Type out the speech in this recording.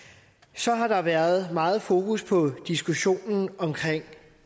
så har der været meget fokus på diskussionen omkring